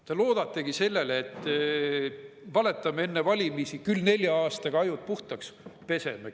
Te loodategi sellele, et valetame enne valimisi, küll nelja aastaga ajud puhtaks peseme.